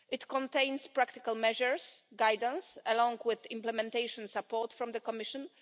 It contains practical measures and guidance along with implementation support from the Commission.